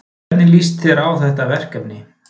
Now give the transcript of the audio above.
Hvernig líst þér á þetta verkefni?